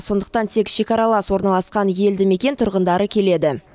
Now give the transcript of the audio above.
сондықтан тек шекаралас орналасқан елді мекен тұрғындары келеді